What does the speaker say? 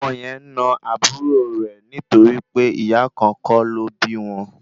Ọmọ yẹn na àbúrò rẹ̀ nítorí pé ìyá kan kọ́ ló bí wọn